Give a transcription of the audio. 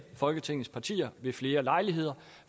folketingets partier ved flere lejligheder